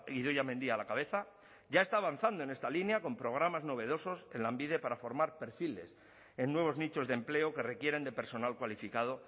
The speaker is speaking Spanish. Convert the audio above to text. idoia mendia a la cabeza ya está avanzando en esta línea con programas novedosos en lanbide para formar perfiles en nuevos nichos de empleo que requieren de personal cualificado